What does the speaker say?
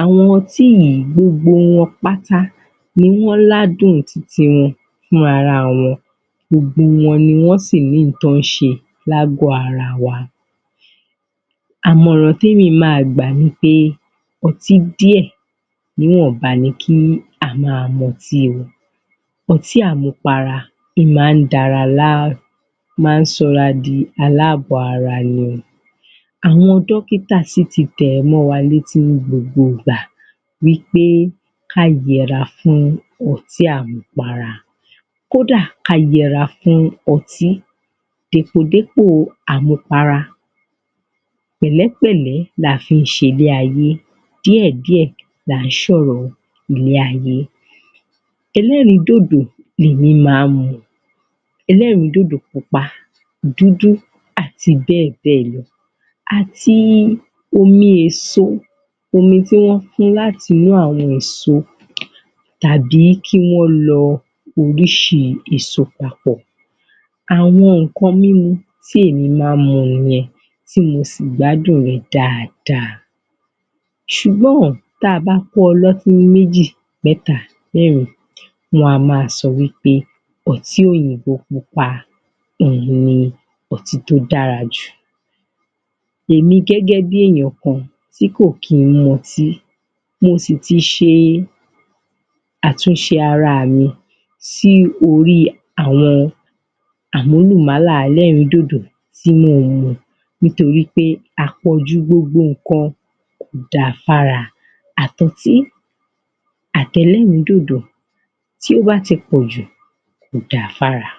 àwọn ọtí yìí gbogbo wọn pátá ni wọ́n ládùn tiwọn fúnra wọn gbogbo wọn ni wọ́n sì ní ohun tí wọ́n ń ṣe ní àgọ̀ ara wa Àmọ̀ràn tí èmi máa gbà ni pé ọtí díẹ̀ níwọ̀nba ni kí á máa mutí o ọtí àmupara ó máa ń da ara láàmú ó máa ń sọ ara di aláàbọ̀ ara ni o àwọn dọ́kítà sì ti tẹ̀ ẹ́ mọ́ wa létí ní gbogbo ìgbà wí pé ká yẹra fún ọtí àmupara kó dà, ká yẹra fún ọtí dèpòdépò àmupara pẹ̀lẹ́pẹ̀l̀ẹ́ la fi ń ṣe ilé ayé, díẹ̀díẹ̀ là ń ṣe ọ̀rọ̀ ilé ayé ẹlẹ́rìídòdò ni èmí máa ń mu ẹlẹ́rìídòdò pupa, dúdú, àti bẹ́ẹ̀ bẹ́ẹ̀ lọ àti omi èso, omi èso tí wọ́n fún láti inú àwọn èso tàbí kí wọ́n lọ oríṣi èso papọ̀ àwọn nǹkan mímu tí èmi máa ń mu nìyẹn tí mo sì gbádùn rẹ̀ dáadáa ṣùgbọ́n tí a bá kó ọlọ́tí méjì, mẹ́ta, mẹ́rin wọn a maa sọ wí pé ọtí òyìnbó pupa ni ọtí tó dára jù èmi gẹ́gẹ́ bí èèyàn kan tí kò kí ń mu ọtí mo sì ti ṣe àtúnṣe ara mi sí orí àwọn àmúlùmálà ẹlẹ́rìídòdò tí mò ń mu nítorí pé àpọ̀jù gbogbo nǹkan kò da fára àti ọtí àti ẹlẹ́rìídòdò tí ó bá ti pọ̀jù kò da fún ara